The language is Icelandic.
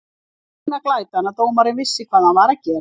Það var eina glætan að dómarinn vissi hvað hann var að gera.